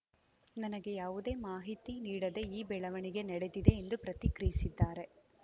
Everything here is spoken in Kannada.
ನನಗೆ ಯಾವುದೇ ಮಾಹಿತಿ ನೀಡದೆ ಈ ಬೆಳವಣಿಗೆ ನಡೆದಿದೆ ಎಂದು ಪ್ರತಿಕ್ರಿಯಿಸಿದ್ದಾರೆ